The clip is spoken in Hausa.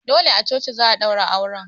Dole a coci za'a ɗaura auren